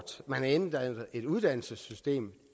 et uddannelsessystem